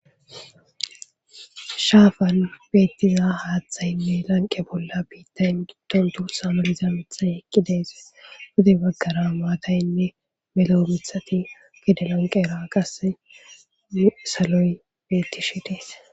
Shaafan beettiza haaththayinne lanqe bolla biittayn gitton tu samaliza mithay eqqideese gude baggara maataynne meloo mithati gede lanqe era qasse saloy beetti shi dees.